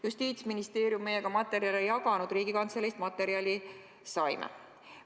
Justiitsministeerium meiega materjale ei jaganud, Riigikantseleist materjali saime.